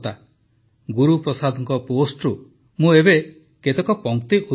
ଗୁରୁପ୍ରସାଦଙ୍କ ପୋଷ୍ଟ୍ରୁ ମୁଁ ଏବେ କେତେକ ପଂକ୍ତି ଉଦ୍ଧୃତ କରୁଛି